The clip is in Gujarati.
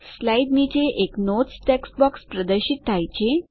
સ્લાઇડ નીચે એક નોટ્સ ટેક્સ્ટ બોક્સ પ્રદર્શિત થયેલ છે